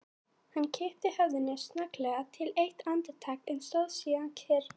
Hann kippti höfðinu snögglega til eitt andartak, en stóð síðan kyrr.